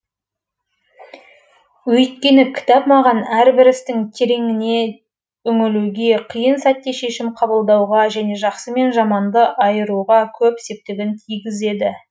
өйткені кітап маған әрбір істің тереңіне үңілуге қиын сәтте шешім қабылдауға және жақсы мен жаманды айыруға көп септігін тигізеді